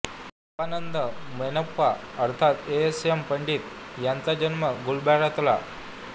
साबानंद मोनप्पा अर्थात S M Pandit यांचा जन्म गुलबर्ग्यातला